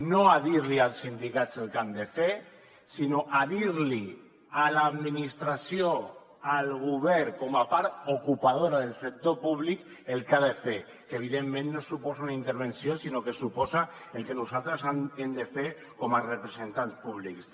no a dir los als sindicats el que han de fer sinó a dir li a l’administració al govern com a part ocupadora del sector públic el que ha de fer que evidentment no suposa una intervenció sinó que suposa el que nosaltres hem de fer com a representants públics